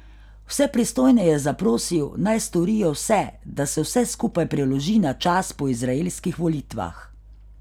Vse pristojne je zaprosil, naj storijo vse, da se vse skupaj preloži na čas po izraelskih volitvah.